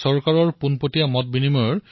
ইয়াৰ লগতে অনলাইন নিৰীক্ষণৰ ব্যৱস্থাও কৰিব লাগে